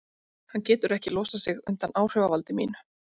Hann getur ekki losað sig undan áhrifavaldi mínu.